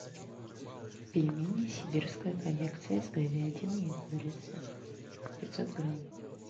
пельмени сибирская коллекция с говядиной и курицей пятьсот грамм